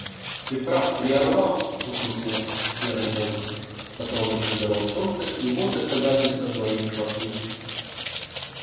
ты прав три орла усмехнулся серый бобр дотронувшись до волчонка и вот доказательство твоей правоты